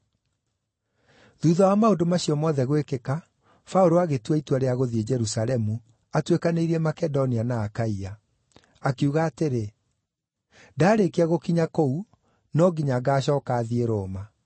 Thuutha wa maũndũ macio mothe gwĩkĩka, Paũlũ agĩtua itua rĩa gũthiĩ Jerusalemu, atuĩkanĩirie Makedonia na Akaia. Akiuga atĩrĩ, “Ndaarĩkia gũkinya kũu, no nginya ngaacooka thiĩ Roma.”